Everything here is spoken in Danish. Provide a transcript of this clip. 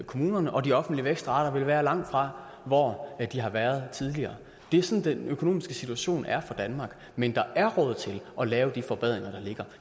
kommunerne og de offentlige vækstrater vil være langt fra hvor de har været tidligere det er sådan den økonomiske situation er for danmark men der er råd til at lave de forbedringer der ligger